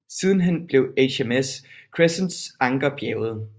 Sidenhen blev HMS Crescents anker bjerget